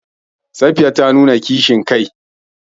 Safiya ta nuna kishin kai.